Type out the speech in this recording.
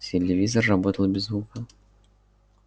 телевизор работал без звука